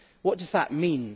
What does that mean?